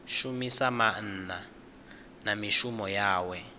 shumisa maana na mishumo yawe